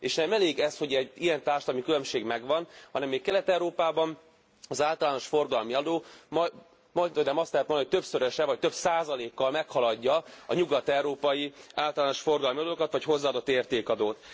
És nem elég ez, hogy egy ilyen társadalmi különbség megvan, hanem még Kelet Európában az általános forgalmi adó majdhogynem azt lehet mondani, hogy többszöröse, vagy több százalékkal meghaladja a nyugat európai általános forgalmi adókat vagy hozzáadottérték adót.